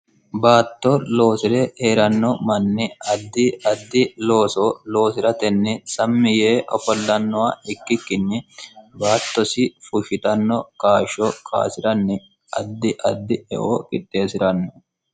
baatto loosire eeranno manni addi addi looso loosi'ratenni sammi yee opollannowa ikkikkinni baattosi fushshitanno kaashsho kaasi'ranni addi addi eo qitteesi'ranno